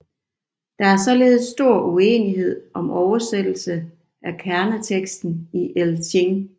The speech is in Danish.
Der er således stor uenighed om oversættelsen af kerneteksten i I Ching